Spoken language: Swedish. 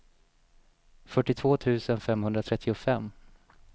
fyrtiotvå tusen femhundratrettiofem